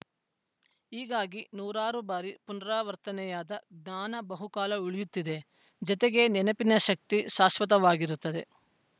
ಹೀಗಾಗಿ ನೂರಾರು ಬಾರಿ ಪುನಾರವರ್ತನೆಯಾದ ಜ್ಞಾನ ಬಹುಕಾಲ ಉಳಿಯುತ್ತದೆ ಜತೆಗೆ ನೆನಪಿನ ಶಕ್ತಿ ಶಾಶ್ವತವಾಗಿರುತ್ತದೆ